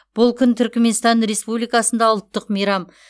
бұл күн түрікменстан республикасында ұлттық мейрам